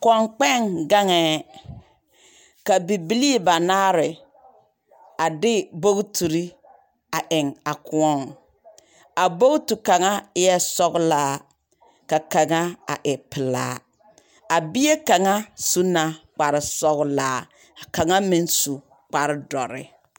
Koŋ kpɛŋ gaŋɛɛ, ka bibilii ba naare a de bogtirr eŋ a kõɔŋ. A bogti kaŋa eɛɛ sɔglaa ka kaŋa a e pelaa. A bie kaŋ su la kparsɔglaa, ka kaŋa meŋ su kpar dɔre.